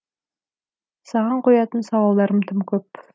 саған қоятын сауалдарым тым көп